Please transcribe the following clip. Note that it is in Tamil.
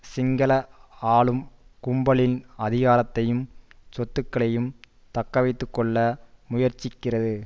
சிங்கள ஆளும் கும்பலின் அதிகாரத்தையும் சொத்துக்களையும் தக்கவைத்து கொள்ள முயற்சிக்கிறது